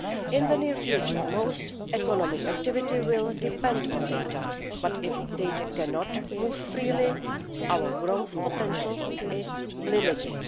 In the near future, most economic activity will depend on data, but if data cannot move freely, our growth potential is limited.